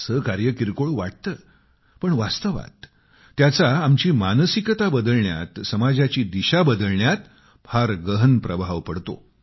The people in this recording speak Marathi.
असे कार्य किरकोळ वाटते परंतु वास्तवात त्यांचा आमची मानसिकता बदलण्यात समाजाची दिशा बदलण्यात फार गहन प्रभाव पडतो